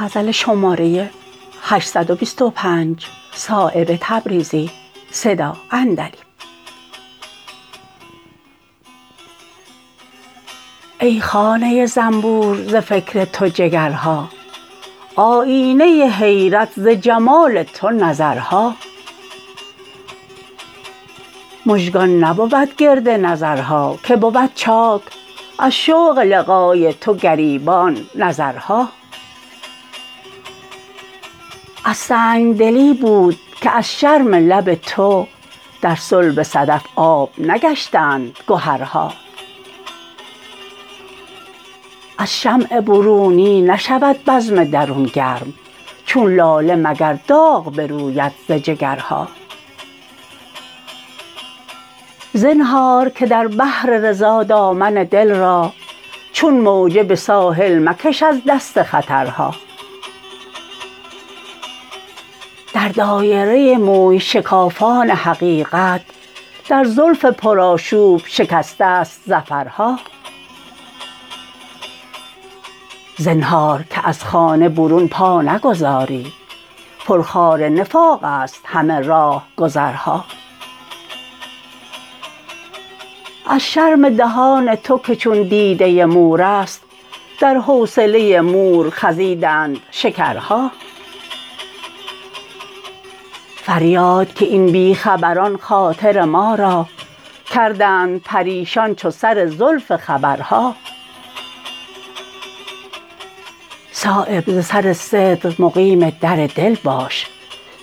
ای خانه زنبور ز فکر تو جگرها آیینه حیرت ز جمال تو نظرها مژگان نبود گرد نظرها که بود چاک از شوق لقای تو گریبان نظرها از سنگدلی بود که از شرم لب تو در صلب صدف آب نگشتند گهرها از شمع برونی نشود بزم درون گرم چون لاله مگر داغ بروید ز جگرها زنهار که در بحر رضا دامن دل را چون موجه به ساحل مکش از دست خطرها در دایره موی شکافان حقیقت در زلف پر آشوب شکست است ظفرها زنهار که از خانه برون پا نگذاری پر خار نفاق است همه راهگذرها از شرم دهان تو که چون دیده مورست در حوصله مور خزیدند شکرها فریاد که این بی خبران خاطر ما را کردند پریشان چو سر زلف خبرها صایب ز سر صدق مقیم در دل باش